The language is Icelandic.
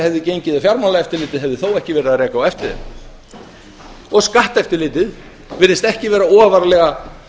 hefði gengið ef fjármálaeftirlitið hefði þó ekki verið að reka á eftir þeim skatteftirlitið virðist ekki vera ofarlega